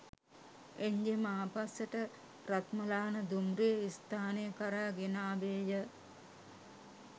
එංජිම ආපස්සට රත්මලාන දුම්රිය ස්ථානය කරා ගෙන ආවේය